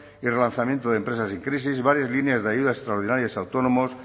y relanzamiento de empresas en crisis varias líneas de ayudas extraordinarias a autónomos